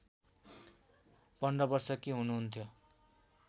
१५ वर्षकी हुनुहुन्थ्यो